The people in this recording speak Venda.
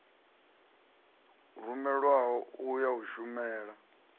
rumelwaho u ya u shumela